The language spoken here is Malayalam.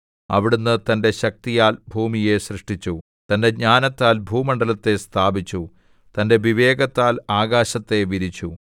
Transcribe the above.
അവിടുന്ന് തന്റെ ശക്തിയാൽ ഭൂമിയെ സൃഷ്ടിച്ചു തന്റെ ജ്ഞാനത്താൽ ഭൂമണ്ഡലത്തെ സ്ഥാപിച്ചു തന്റെ വിവേകത്താൽ ആകാശത്തെ വിരിച്ചു